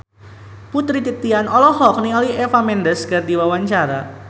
Putri Titian olohok ningali Eva Mendes keur diwawancara